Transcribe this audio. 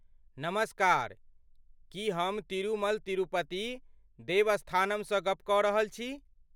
नमस्कार! की हम तिरुमल तिरुपति देवस्थानमसँ गप्प कऽ रहल छी?